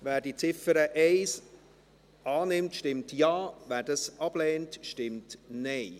Wer die Ziffer 1 annimmt, stimmt Ja, wer dies ablehnt, stimmt Nein.